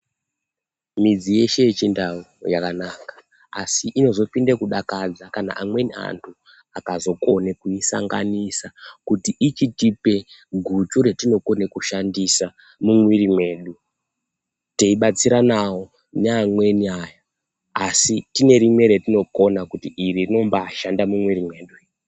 Midzi yeshe ye chindau yakanaka asi inozo pinde kudakadza kana amweni antu akazo kone kuyi sanganisa kuti ichitipe guchu ratino kone kushandisa mu mwiri mwedu tei batsiranawo ne amweni aya asi tine rimwe ratino kona kuti iri rinombai shanda mu mwiri mwedu iri.